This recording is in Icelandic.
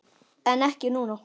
En ekki núna?